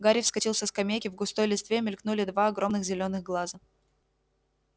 гарри вскочил со скамейки в густой листве мелькнули два огромных зелёных глаза